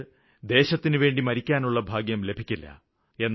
നമുക്ക് ദേശത്തിന് വേണ്ടി മരിക്കാനുള്ള ഭാഗ്യം ലഭിക്കില്ല